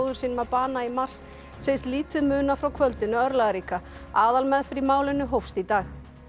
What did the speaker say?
sínum að bana í mars segist lítið muna frá kvöldinu örlagaríka aðalmeðferð í málinu hófst í dag